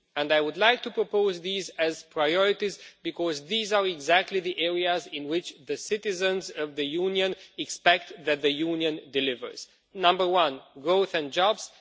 I would like to propose these as priorities because these are exactly the areas in which the citizens of the Union expect that the Union will deliver number one, growth and jobs